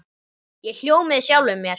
Ég hló með sjálfum mér.